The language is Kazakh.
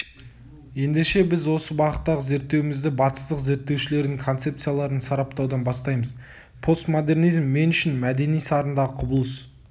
ендеше біз осы бағыттағы зерттеуімізді батыстық зерттеушілердің концепцияларын сараптаудан бастаймыз постмодернизм мен үшін мәдени сарындағы құбылыс